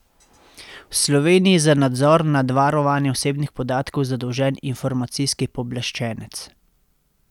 V Sloveniji je za nadzor nad varovanjem osebnih podatkov zadolžen informacijski pooblaščenec.